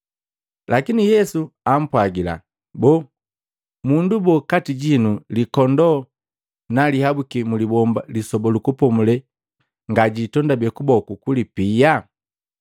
Lakini Yesu ampwagila, “Boo, mundu boo kati jinu likondoo na lihabuki mlibomba Lisoba lu Kupomulela ngajitondabe kuboku kulipia?